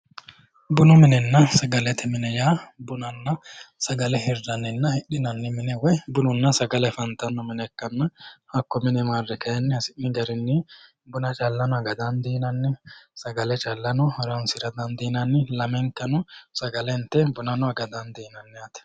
Bunu minenna sagalete mine yaa bunanna sagale hirranninna hidhinanni mine woyi bununna sagale afantanno mine ikkanna hakko mine marre kayinni hasi'ni garinni buna callano aga dandiinanni sagale callano horoonsira dandiinanni. Lamenkano sagale inte buna aga dandiinanni yaate.